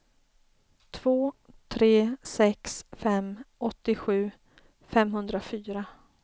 två tre sex fem åttiosju femhundrafyra